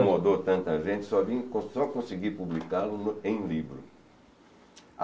Incomodou tanta gente, só consegui publicá-lo em livro.